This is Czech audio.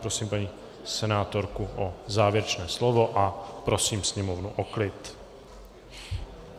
Prosím paní senátorku o závěrečné slovo a prosím sněmovnu o klid.